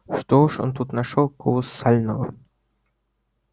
что уж он тут нашёл колоссального